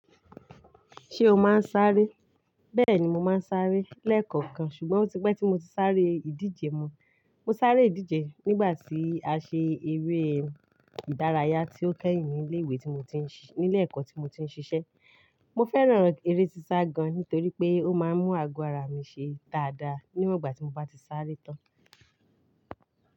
Ṣé o máa ń sáré? Bẹ́ẹ̀ni mo máa ń sáré lẹ́ẹ̀kọ̀kan ṣùgbọ́n ó ti pẹ́ tí mo ti sáré ìdíje mọ. Mo sáré ìdíje nígbà tí a ṣe eré ìdárayá tí ó kẹ́yìn ní ilé ìwé tí mo ti ń ṣi-- nílé ẹ̀kọ́ tí mo ti ń ṣiṣẹ́. Mo fẹ́ràn eré sisa gan nítorí pé ó máa ń mú ago ara mi ṣe dáadáa níwọ̀n ìgbà tí mo bá ti sáré tán.